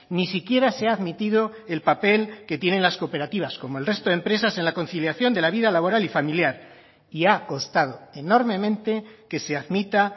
ni siquiera se ha admitido el papel que tienen las cooperativas como el resto de empresas en la conciliación de la vida laboral y familiar y ha costado enormemente que se admita